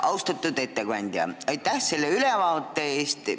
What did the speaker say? Austatud ettekandja, aitäh selle ülevaate eest!